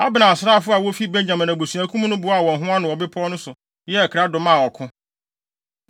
Abner asraafo a wofi Benyamin abusuakuw mu no boaa wɔn ho ano wɔ bepɔw no so yɛɛ krado maa ɔko.